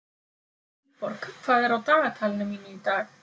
Vilborg, hvað er á dagatalinu mínu í dag?